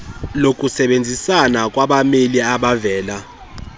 lokusebenzisana kwamabeli abavela